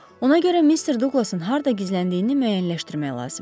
Ona görə Mr. Duqlasın harda gizləndiyini müəyyənləşdirmək lazımdır.